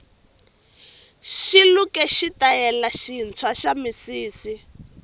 xiluke xitayele swintwa xamisisi